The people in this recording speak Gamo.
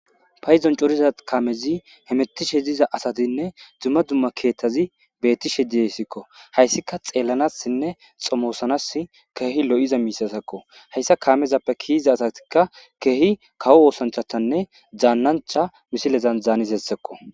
payizon coriza kamezi hemettishe diza asatinne dumma dumma keettazi beettishe diyesikko hayssika xeellanassinne xomoosanas keehi lo7iza miisasekko hayssa kaamezappe kiiza asatikka keehi kawo woosanchatanne zaannancha misilezan zaanis hessekko.